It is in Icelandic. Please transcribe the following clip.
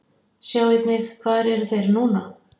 Sjá einnig: Hvar eru þeir núna?